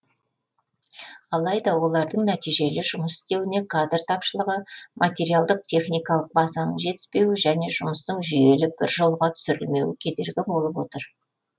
алайда олардың нәтижелі жұмыс істеуіне кадр тапшылығы материалдық техникалық базаның жетіспеуі және жұмыстың жүйелі бір жолға түсірілмеуі кедергі болып отыр